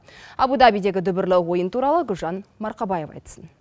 абу дабидегі дүбірлі ойын туралы гүлжан марқабаева айтсын